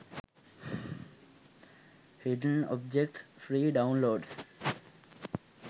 hidden objects free download